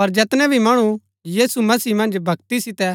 पर जैतूणै भी मणु यीशु मसीह मन्ज भक्ति सितै